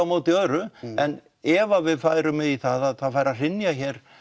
móti öðru en ef við færum í það að það færu að hrynja hér